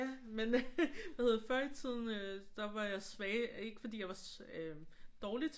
Ja men øh hvad hedder det før i tiden der var jeg svag ikke fordi jeg var dårlig til